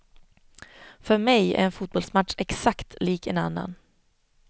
För mej är en fotbollsmatch exakt lik en annan.